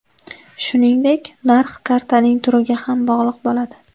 Shuningdek narx kartaning turiga ham bog‘liq bo‘ladi .